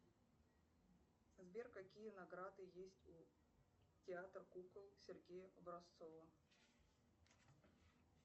сбер какие награды есть у театра кукол сергея образцова